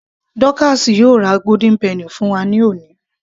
Dọ́káásì yóò ra golden penny fún wa ní òní